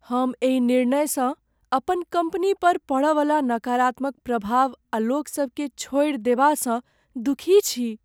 हम एहि निर्णयसँ अपन कम्पनी पर पड़यवला नकारात्मक प्रभाव आ लोकसभकेँ छोड़ि देबासँ दुखी छी।